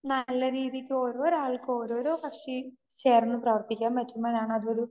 speaker 2 നല്ല രീതിക്ക് ഓരോരാൾക്ക് ഓരോരോ കക്ഷി ചേർന്ന് പ്രവർത്തിക്കാൻ പറ്റുമ്പോഴാണ് അത് ഒരു